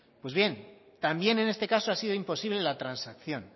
pues bien también en este caso ha sido imposible la transacción